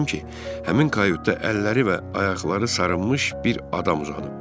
Gördüm ki, həmin kayotda əlləri və ayaqları sarınmış bir adam uzanıb.